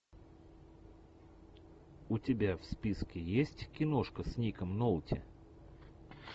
у тебя в списке есть киношка с ником нолти